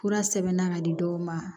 Fura sɛbɛnna ka di dɔw ma